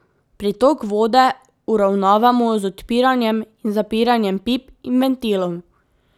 Pritok vode uravnavamo z odpiranjem in zapiranjem pip in ventilov.